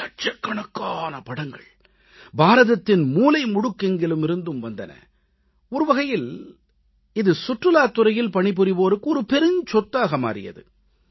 லட்சக்கணக்கான படங்கள் பாரதத்தின் மூலை முடுக்கெங்கிலுமிருந்தும் வந்தன ஒருவகையில் இது சுற்றுலாத் துறையில் பணிபுரிவோருக்கு பெரும் சொத்தாக மாறியது